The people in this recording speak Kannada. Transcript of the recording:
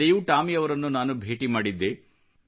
ಹಿಂದೆಯೂ ಟಾಮಿಯವರನ್ನು ನಾನು ಭೇಟಿ ಮಾಡಿದ್ದೆ